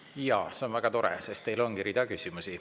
Jaa, see on väga tore, sest teile ongi rida küsimusi.